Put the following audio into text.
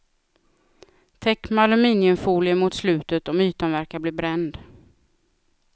Täck med aluminiumfolie mot slutet om ytan verkar bli bränd.